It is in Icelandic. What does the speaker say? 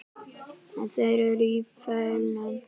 En þeir eru í felum!